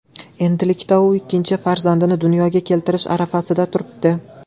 Endilikda u ikkinchi farzandini dunyoga keltirish arafasida turibdi.